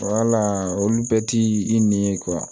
Wala olu bɛɛ ti i n'i ye